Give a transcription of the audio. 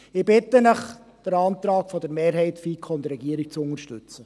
Ich bitte Sie, den Antrag der Mehrheit der FiKo und der Regierung zu unterstützen.